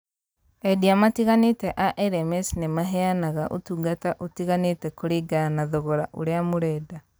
Endia matiganĩte a LMS nĩ maheanaga utungata ũtiganĩte kũringana na thogora ũrĩa mũrenda.